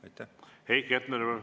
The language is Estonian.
Heiki Hepner, palun!